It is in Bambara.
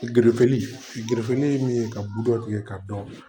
ye min ye ka budɔ kɛ k'a dɔn